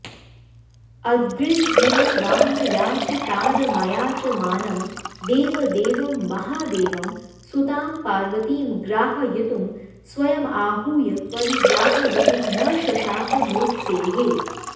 अद्रिर्हिमवानयाचितारमयाचमानं देवदेवं महादेवं सुतां पार्वतीं ग्राहयितुं स्वयमाहूय परिग्राहयितुं न शशाक नोत्सेहे